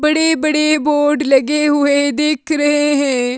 बड़े बड़े बोर्ड लगे हुए दिख रहे हैं।